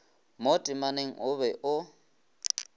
mo temaneng o be o